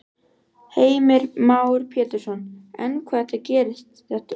Heimir Már Pétursson: En hvað gerist þetta snöggt?